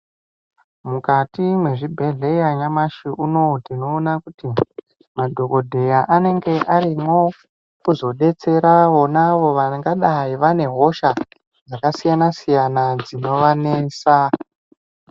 Mukati mwe zvibhedhleya nyamashi unowu tino ona kuti madhokodheya anenge arimwo kuzo detsera vonavo vangadai vane hosha dzaka siyana siyana dzino vanesa.